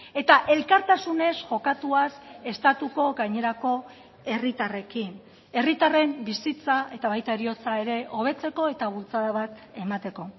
eta elkartasunez jokatuaz estatuko gainerako herritarrekin herritarren bizitza eta baita heriotza ere hobetzeko eta bultzada bat emateko